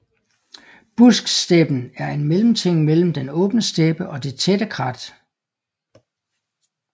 Busksteppen er en mellemting mellem den åbne steppe og det tætte krat